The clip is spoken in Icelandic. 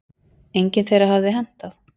Engin þeirra hafi hentað.